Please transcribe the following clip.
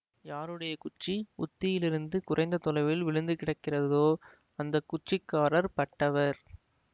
யாருடைய குச்சி உத்தியிலிருந்து குறைந்த தொலைவில் விழுந்துகிடக்கிறதோ அந்த குச்சிக்காரர் பட்டவர்